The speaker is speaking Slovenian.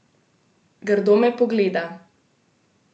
Grdo me pogleda.